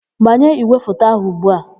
Gbanye ígwèfoto áhụ̀ ugbu a!